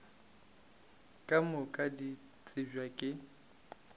ka moka di tsebja ke